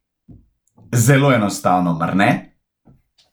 Zelo enostavno, mar ne?